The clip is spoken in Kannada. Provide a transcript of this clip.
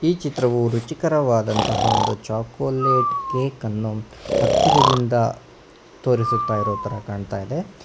ಈ ಚಿತ್ರವು ರುಚಿಕರವಾದಂತಹ ಒಂದು ಚಾಕೊಲೇಟ್ ಕೇಕನ್ನು ಹತ್ತಿರದಿಂದ ತೋರಿಸುತ್ತ ಇರೋತರ ಕಾಣಿಸುತ್ತಾಯಿದೆ.